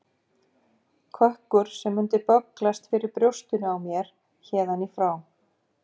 Kökkur sem mundi bögglast fyrir brjóstinu á mér héðan í frá.